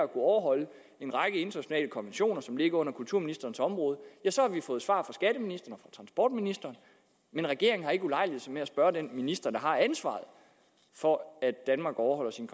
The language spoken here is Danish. overholde en række internationale konventioner som ligger på kulturministerens område og fra transportministeren men regeringen har ikke ulejliget sig med at spørge den minister der har ansvaret for at danmark overholder sine